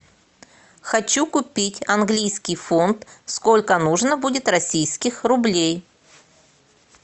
хочу купить английский фунт сколько нужно будет российских рублей